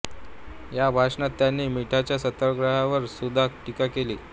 या भाषणात त्यांनी मिठाच्या सत्याग्रहावर सुद्धा टीका केली